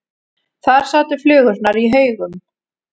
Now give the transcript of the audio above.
Þar sátu flugurnar í haugum.